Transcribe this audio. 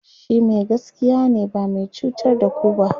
shi Mai gaskiya ne ba zai cutar da ku ba